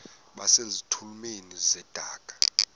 base zitulmeni zedaka